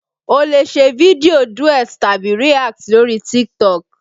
O lè ṣe fídíò Duet tàbí React lórí Titok